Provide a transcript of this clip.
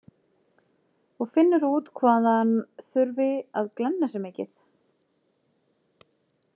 Og finnur út hvað hann þurfi að glenna sig mikið.